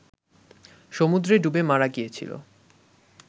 সমুদ্রে ডুবে মারা গিয়েছিল